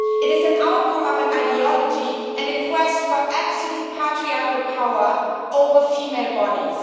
It is an outcome of an ideology and a quest for absolute patriarchal power over female bodies.